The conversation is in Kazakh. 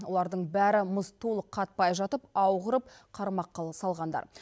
олардың бәрі мұз толық қатпай жатып ау құрып қармақ қыл салғандар